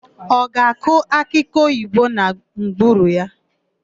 Ọ ga-akụ akịoyibo na ngwuru ya?